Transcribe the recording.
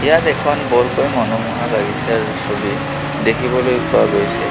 ইয়াত এখন বৰকৈ মনোমোহা বাগিচাৰ ছবি দেখিবলৈ পোৱা গৈছে.